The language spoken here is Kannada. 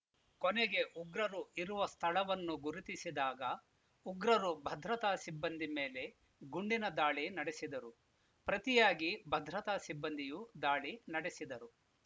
ಕೊನೆಗೆ ಉಗ್ರರು ಇರುವ ಸ್ಥಳವನ್ನು ಗುರುತಿಸಿದಾಗ ಉಗ್ರರು ಭದ್ರತಾ ಸಿಬ್ಬಂದಿ ಮೇಲೆ ಗುಂಡಿನ ದಾಳಿ ನಡೆಸಿದರು ಪ್ರತಿಯಾಗಿ ಭದ್ರತಾ ಸಿಬ್ಬಂದಿಯೂ ದಾಳಿ ನಡೆಸಿದರು